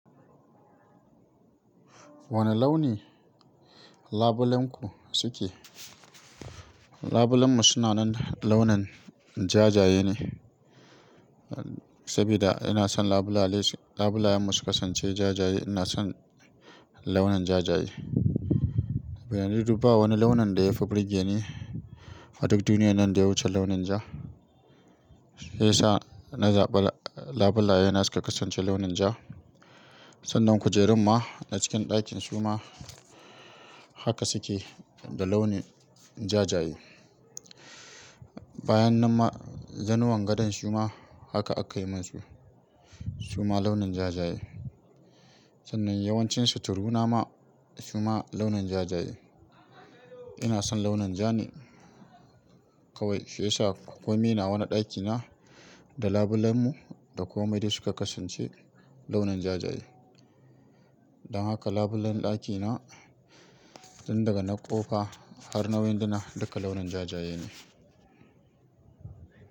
Wane launi labulenku suke? Labulenmu suna nan launin jajaye ne, saboda ina son labule, labulayen musu kasance jajaye. Ina son launin jajaye. Bayanai duba wani launin da ya fi burge ni. A duk duniya nan da ya wuce launin ja. Shiya sa na zaɓa labulaye na suka kasance launin ja. Sannan kujerunma na cikin ɗakin su ma haka suke da launin jajaye. Bayan nan ma, zanuwan gadon su ma haka aka yi munsu su ma launin jajaye. Sannan yawancin suturu na ma su ma launin jajaye. Ina son launin ja ne kawai. Shiya sa komai nawa a wani ɗakina, da labulenmu da komai duk su ka kasance launin jajaye. Dan haka labulen ɗakina, tun daga na ƙofa har na winduna duka launin jajaye ne.